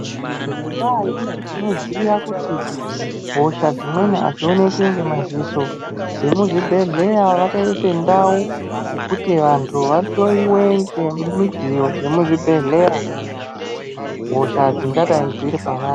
Ngendaa yekuti tinoziya kuti hosha dzimweni adzioneki ngemadziso vemuzvibhehlera vakaise ndau yekuti vantu vahloyiwe ngemidziyo dzemuzvibhleya hosha dzingadai dziri pavari.